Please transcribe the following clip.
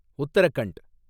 Uttarakhand